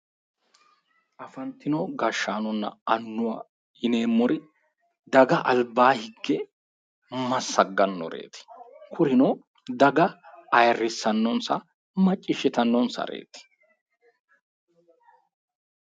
Afantino gashshanonna annuwwa yineemmori daga albaa higge massaggannoreeti. Kurino daga ayirrissannonsa macciishshitannonsareeti.